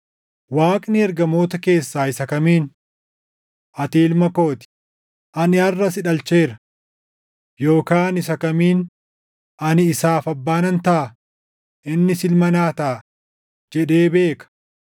Waaqni ergamoota keessaa isa kamiin, “Ati Ilma koo ti; ani harʼa si dhalcheera” + 1:5 \+xt Far 2:7\+xt* Yookaan isa kamiin, “Ani isaaf Abbaa nan taʼa; innis Ilma naa taʼa” + 1:5 \+xt 2Sm 7:14; 1Sn 17:13\+xt* jedhee beeka?